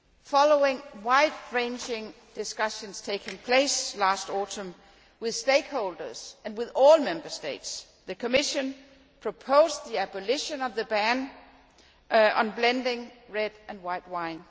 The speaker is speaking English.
Following wide ranging discussions which took place last autumn with stakeholders and with all Member States, the Commission proposed the abolition of the ban on blending red and white wine.